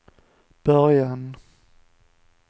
början